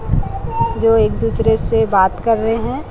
जो एक दूसरे से बात कर रहे है।